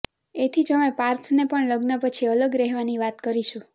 એથી જ અમે પાર્થને પણ લગ્ન પછી અલગ રહેવાની વાત કરીશું